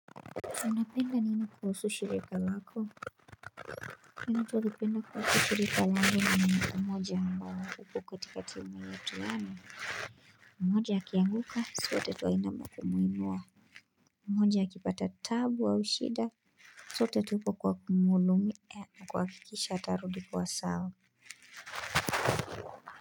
Muna penda nini kuhusu shirika lako Inu tulipenda kwa kukirika langu na minu kumoja mawa kupu katika timu ya tuhanu mmoja aki anguka suwa tetu aina maku muinua mmoja aki pata tabu au shida Sotetu kwa kumulumi na kwa kikisha tarudi kwa sawa.